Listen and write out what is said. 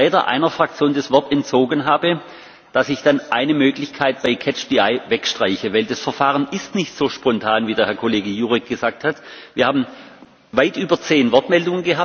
Ich nehme mir die Freiheit, dass ich, wenn ich einem Vertreter der Fraktion das Wort entzogen hab, dann eine Möglichkeit bei Catch the eye wegstreiche, denn das Verfahren ist nicht so spontan, wie der Herr Kollege Jurek gesagt hat.